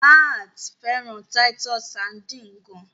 Matt fẹràn Titus sardines gaan.